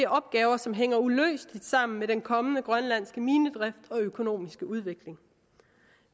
opgaver som hænger uløseligt sammen med den kommende grønlandske minedrift og økonomiske udvikling